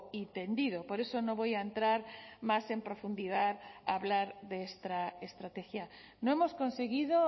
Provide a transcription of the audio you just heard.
y tendido por eso no voy a entrar más en profundidad a hablar de esta estrategia no hemos conseguido